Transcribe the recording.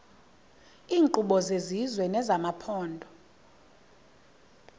iinkqubo zesizwe nezamaphondo